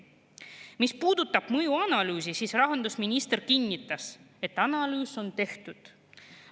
Mis puudutab mõjuanalüüsi, siis rahandusminister kinnitas, et analüüs on tehtud.